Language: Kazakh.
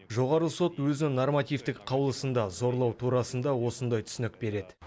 жоғарғы сот өзінің нормативтік қаулысында зорлау турасында осындай түсінік береді